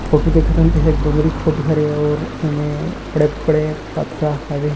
Photo देखा थन तेहा एक डोंगरी के फोटो हरे और एमे बड़े-बड़े पथरा हवे।